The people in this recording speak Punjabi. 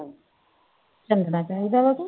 ਚਾਹੀਦਾ ਵਾ